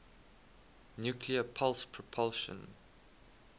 nuclear pulse propulsion